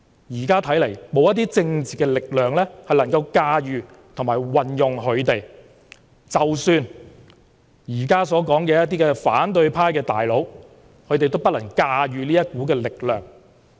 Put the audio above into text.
現在看來沒有任何政治力量能夠駕馭和利用他們，即使現在說的反對派"大佬"，也不能駕馭這股力量。